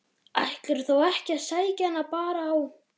Ætlarðu þá ekki að sækja hana bara á